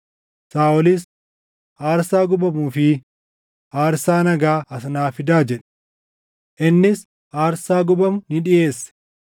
Saaʼolis, “Aarsaa gubamuu fi aarsaa nagaa as naa fidaa” jedhe. Innis aarsaa gubamu ni dhiʼeesse.